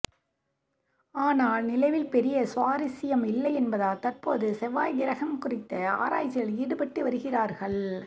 ஆனால் நிலவில் பெரிய சுவாரசியம் இல்லை என்பதால் தற்போது செவ்வாய் கிரகம் குறித்த ஆராய்ச்சியில் ஈடுபட்டு வருகிறார்கள்